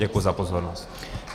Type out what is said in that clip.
Děkuji za pozornost.